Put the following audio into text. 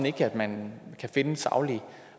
ikke man kan finde saglig